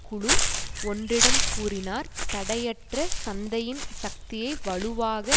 குழு ஒன்றிடம் கூறினார் தடையற்ற சந்தையின் சக்தியை வலுவாக